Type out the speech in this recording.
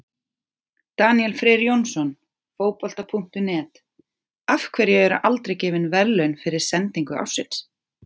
Daníel Freyr Jónsson, Fótbolta.net: Af hverju eru aldrei gefin verðlaun fyrir sendingu ársins?